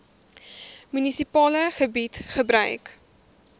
munisipale gebied gebruik